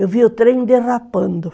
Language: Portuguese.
Eu vi o trem derrapando.